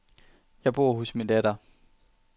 Jeg bor hos min datter.